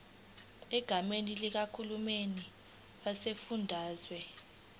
egameni likahulumeni wesifundazwe